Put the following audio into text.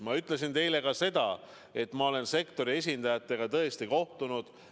Ma ütlesin ka seda, et ma olen sektori esindajatega tõesti kohtunud.